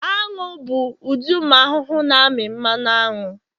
anu bụ ụdị ụmụ ahụhụ na-amị mmanụ aṅụ